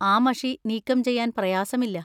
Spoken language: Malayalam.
ആ മഷി നീക്കം ചെയ്യാൻ പ്രയാസമില്ല.